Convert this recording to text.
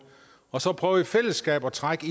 og så prøver man i fællesskab at trække